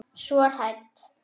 Svo hrædd.